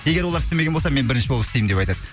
егер олар істемеген болса мен бірінші болып істеймін деп айтады